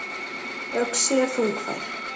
Öxi er þungfær.